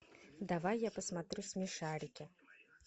давай я посмотрю смешарики